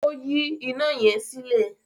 O yi ina yẹn sílẹ.